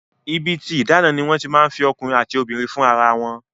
Ibi tí ìdáná ni wọ́n ti máa ń fi ọkùnrin àti obìnrin fún ara wọn